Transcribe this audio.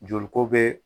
Joli ko be